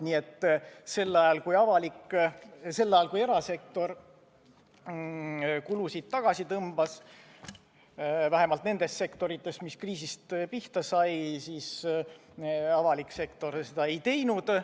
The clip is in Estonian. Nii et sel ajal, kui erasektor kulusid tagasi tõmbas – vähemalt nendes sektorites, mis kriisis pihta said –, avalik sektor seda ei teinud.